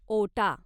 ओटा